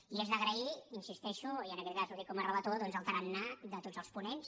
i és d’agrair hi insisteixo i en aquest cas ho dic com a relator doncs el tarannà de tots els ponents